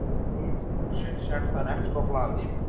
Hitun húsnæðis er þar efst á blaði.